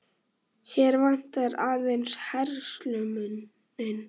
Hér vantar aðeins herslumuninn.